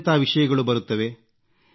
ಎಂತೆಂಥ ವಿಷಯಗಳು ಬರುತ್ತವೆ